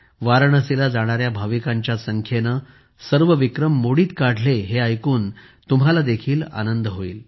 वाराणसीला जाणाऱ्या भाविकांच्या संख्येने सर्व विक्रम मोडीत काढले हे ऐकून तुम्हाला देखील आनंद होईल